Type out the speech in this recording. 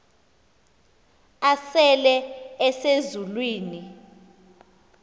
asele ese zulwini